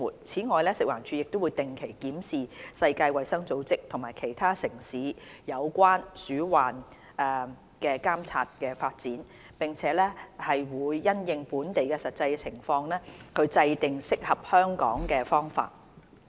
此外，食環署會定期檢視世界衞生組織及其他城市有關鼠患監察的發展，並因應本地實際情況制訂適合香港的方法。